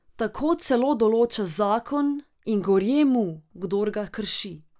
Tako celo določa zakon in gorje mu, kdor ga krši.